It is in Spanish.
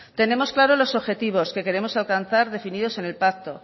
tenemos claro los objetivos que queremos alcanzar definidos en el pacto